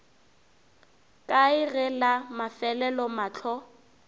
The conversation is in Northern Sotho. kae ge la mafelelo mahlo